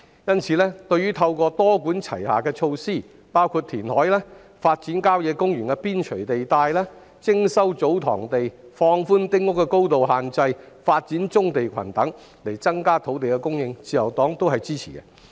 因此，對於政府透過多管齊下的措施，包括填海、發展郊野公園邊陲地帶、徵收祖堂地、放寬丁屋的高度限制、發展棕地群等，以增加土地供應，自由黨均會支持。